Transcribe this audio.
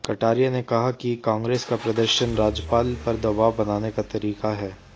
कटारिया ने कहा कि कांग्रेस का प्रदर्शन राज्यपाल पर दबाव बनाने का तरीका हैं